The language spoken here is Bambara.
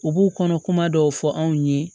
U b'u kɔnɔ kuma dɔw fɔ anw ye